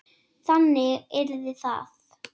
Þannig yrði það.